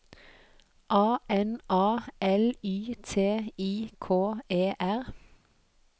A N A L Y T I K E R